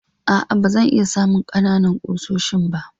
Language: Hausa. A'a, ba zan iya samun ƙanana ƙusoshin ba.